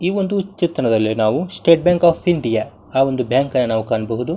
ಈ ಒಂದು ಚಿತ್ರಣದಲ್ಲಿ ನಾವು ಸ್ಟೇಟ್ ಬ್ಯಾಂಕ್ ಆಫ್ ಇಂಡಿಯಾ ಆ ಒಂದು ಬ್ಯಾಂಕ್ ನ ನಾವು ಕಾಣಬಹುದು.